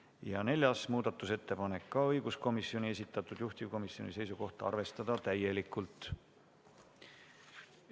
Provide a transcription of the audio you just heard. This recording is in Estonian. Ja ka neljas muudatusettepanek on õiguskomisjoni esitatud, juhtivkomisjoni seisukoht: arvestada seda täielikult.